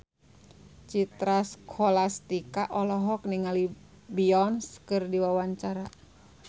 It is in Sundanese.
Citra Scholastika olohok ningali Beyonce keur diwawancara